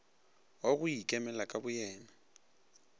wa go ikemela ka boyena